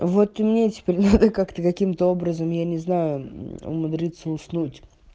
вот и мне теперь надо как-то каким-то образом я не знаю умудриться уснуть